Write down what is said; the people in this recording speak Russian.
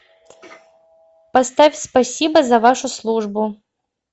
поставь спасибо за вашу службу